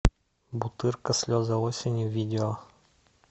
бутырка слезы осени видео